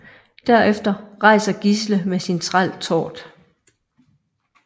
Derefter rejser Gisle med sin træl Tord